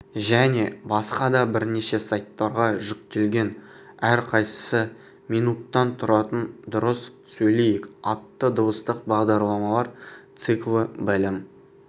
және басқа да бірнеше сайттарға жүктелген әрқайсысы минуттан тұратын дұрыс сөйлейік атты дыбыстық бағдарламалар циклі білім